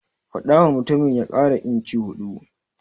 Faɗawa mutumin ya ƙara inci huɗu.